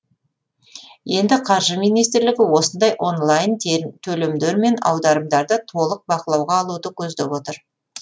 енді қаржы министрлігі осындай онлайн төлемдер мен аударымдарды толық бақылауға алуды көздеп отыр